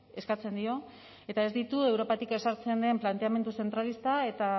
eskatzen dio eta ez ditu europatik ezartzen den planteamendu zentralista eta